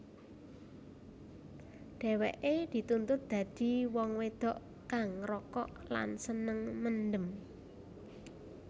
Dheweke dituntut dadi wong wedok kang ngrokok lan seneng mendem